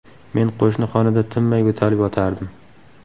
Men qo‘shni xonada tinmay yo‘talib yotardim.